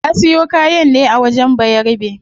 Ta siyo kayan ne a wajen bayarabe